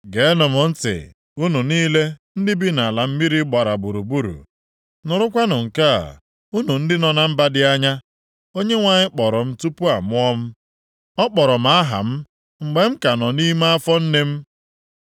Geenụ m ntị, unu niile ndị bi nʼala mmiri gbara gburugburu, nụrụkwanụ nke a, unu ndị nọ na mba dị anya. Onyenwe anyị kpọrọ m tupu amụọ m. Ọ kpọrọ m aha m mgbe m ka nọ nʼime afọ nne m.